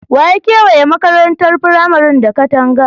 Wa ya kewaye makarantar firamaren da katanga?